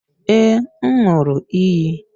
Ee, m ṅụụrụ iyi